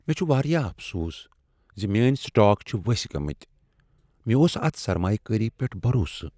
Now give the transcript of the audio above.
مےٚ چھ واریاہ افسوس ز میٛٲنۍ سٹاک چھ ؤستھ گٔمٕتۍ۔ مےٚ اوس اتھ سرمایہ کٲری پیٹھ بروسہٕ۔